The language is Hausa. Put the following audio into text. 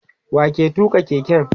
wa ke tuka keken?